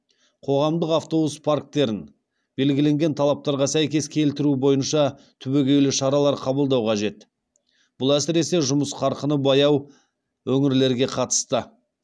қоғамдық автобус парктерін белгіленген талаптарға сәйкес келтіру бойынша түбегейлі шаралар қабылдау қажет бұл әсіресе жұмыс қарқыны баяу өңірлерге қатысты